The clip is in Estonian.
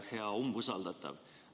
Hea umbusaldatav!